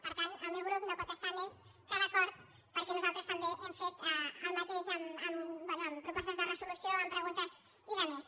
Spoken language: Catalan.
per tant el meu grup no hi pot estar més que d’acord per·què nosaltres també hem fet el mateix bé amb pro·postes de resolució amb preguntes i d’altres